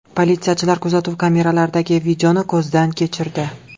Politsiyachilar kuzatuv kameralaridagi videoni ko‘zdan kechirdi.